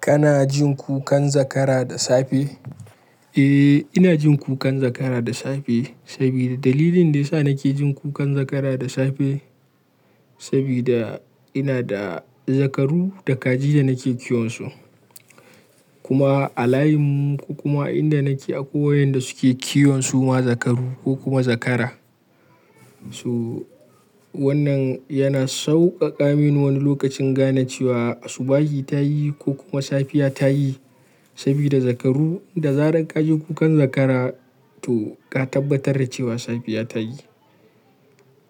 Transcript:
Kana jin kukan zakara da safe? Eh, ina jin kukan zakara da safe sabida dalilin da ya sa nake jin kukan zakara da safe sabida ina da zakaru da kaji da nake kiwon su. Kuma a layinmu ko kuma a inda nake akwai wayanda suke kiwon suma zakaru ko kuma zakara. To wannan yana sauƙaƙa mini wani lokaci in gane cewa asubahi ta yi ko kuma safiya ta yi sabida zakaru da zarar ka ji kukan zakara to ka tabbatar da cewa safiya ta yi.